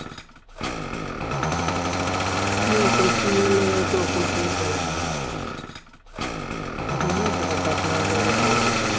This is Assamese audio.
আমি অকলশৰীয়া ল'ৰাতো, অকলশৰে থাকিম না, সুধিলে partner ৰ লগত লৈ গৈছে।